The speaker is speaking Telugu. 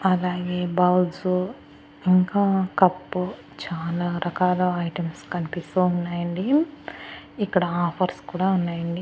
అలాగే బౌల్సు ఇంకా కప్పు చాలా రకాల ఐటమ్స్ కనిపిస్తూ ఉన్నాయండి ఇక్కడ ఆఫర్స్ కూడా ఉన్నాయండి.